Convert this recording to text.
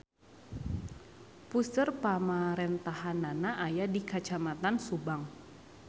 Puseur pamarentahannana aya di Kacamatan Subang.